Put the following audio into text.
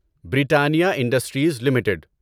Britannia Industries limited